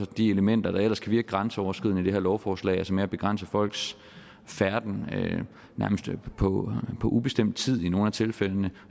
de elementer der ellers kan virke grænseoverskridende i det her lovforslag med at begrænse folks færden nærmest på ubestemt tid i nogle af tilfældene